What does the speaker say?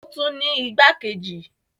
Ó tún ní igbákejì.